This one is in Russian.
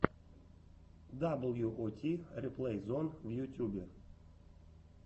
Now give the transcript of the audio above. дабл ю о ти реплей зон в ютьюбе